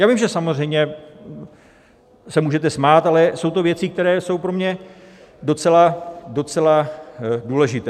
Já vím, že samozřejmě se můžete smát, ale jsou to věci, které jsou pro mě docela důležité.